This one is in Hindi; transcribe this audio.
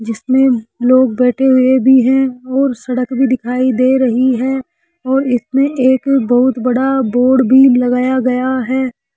जिसमें लोग बैठे हुए भी हैं और सड़क भी दिखाई दे रही है और इसमें एक बहुत बड़ा बोर्ड भी लगाया गया है।